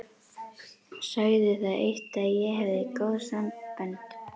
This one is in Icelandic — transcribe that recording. Sagði það eitt að ég hefði góð sambönd.